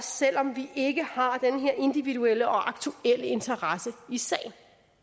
selv om vi ikke har den her individuelle og aktuelle interesse i sagen